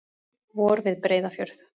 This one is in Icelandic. Vor við Breiðafjörð.